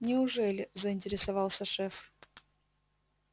неужели заинтересовался шеф